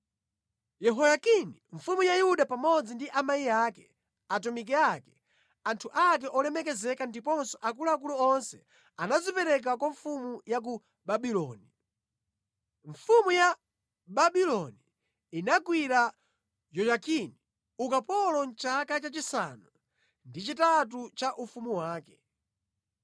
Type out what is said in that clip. Yehoyakini mfumu ya Yuda pamodzi ndi amayi ake, atumiki ake, anthu ake olemekezeka ndiponso akuluakulu onse anadzipereka kwa mfumu ya ku Babuloni. Mfumu ya Babuloni inagwira Yoyakini ukapolo mʼchaka chachisanu ndi chitatu cha ufumu wake.